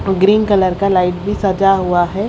Green colour का light भी सजा हुआ है।